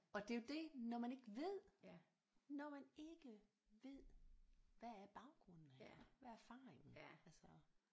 Og det er jo det når man ikke ved når man ikke ved hvad er baggrunden her hvad er erfaringen altså